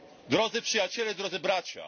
Drodzy Przyjaciele i Drodzy Bracia!